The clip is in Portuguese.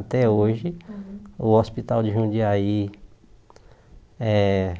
Até hoje, o hospital de Jundiaí eh